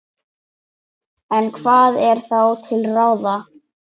En hvað er þá til ráða?